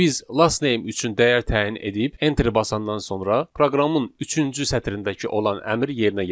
Biz Lastname üçün dəyər təyin edib enteri basandan sonra proqramın üçüncü sətrindəki olan əmr yerinə yetirilir.